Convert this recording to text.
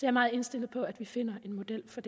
er meget indstillet på at vi finder en model for